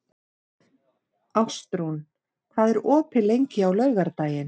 Ástrún, hvað er opið lengi á laugardaginn?